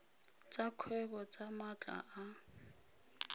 tsa kgwebo tsa maatla a